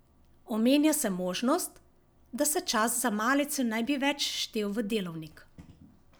Omenja se možnost, da se čas za malico ne bi več štel v delovnik.